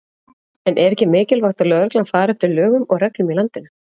En er ekki mikilvægt að lögreglan fari eftir lögum og reglum í landinu?